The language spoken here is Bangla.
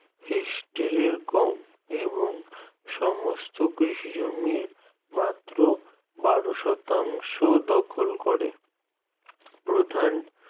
হিষ্টরেইও কম এবং সমস্ত কৃষি জমি মাত্র বারো শতাংশ দখল করে। প্রধান